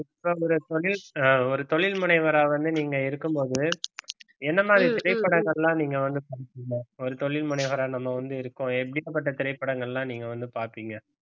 தொழில் அஹ் ஒரு தொழில் முனைவரா வந்து நீங்க இருக்கும்போது என்ன மாதிரி திரைப்படங்கள்லாம் நீங்க வந்து பார்ப்பீங்க ஒரு தொழில் முனைவோரா நம்ம வந்து இருக்கோம் எப்படிப்பட்ட திரைப்படங்கள்லாம் நீங்க வந்து பார்ப்பீங்க